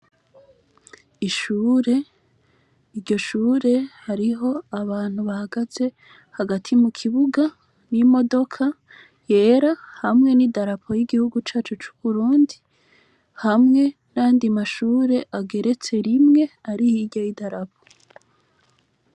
Ishure iryo shure hariho abantu bahagaze hagati mu kibuga n'imodoka yera hamwe n'i darapo y'igihugu cacu c'uburundi hamwe na ndi mashure ageretse rimwe ari ihoirya y'i darapo.